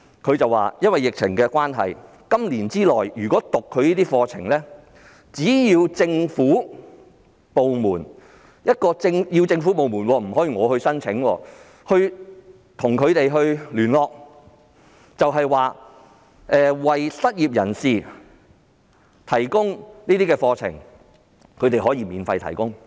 他們表示，由於疫情關係，在本年內，只要政府部門——必須是政府部門，不能個人——與他們聯絡，有意為失業人士提供有關課程，該機構可以免費提供課程。